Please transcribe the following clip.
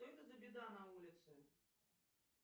что это за беда на улице